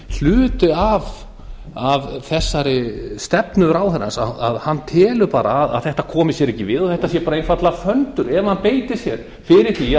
hluti af þessari stefnu ráðherrans hann telur bara að þetta komi sér ekki við og þetta sé bara einfaldlega föndur ef hann beitir sér fyrir því að